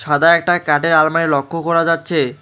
সাদা একটা কাঠের আলমারি লক্ষ করা যাচ্ছে।